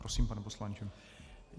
Prosím, pane poslanče.